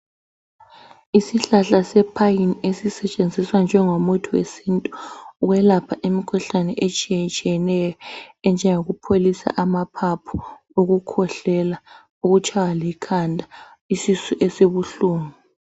Isihlahla sepine ezisentshenziswa njengo muthi wesintu ukwelapha imikhuhlane etshiyeneyo enjengo kupholisa amaphaphu ukukwehlela ukutshaywa likhanda isisu esibuhlungu